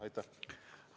Aitäh!